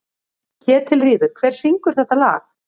Ketilríður, hver syngur þetta lag?